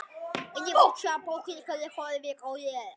Hún heldur áfram.